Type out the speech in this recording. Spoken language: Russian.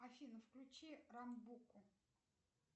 афина включи рамбуку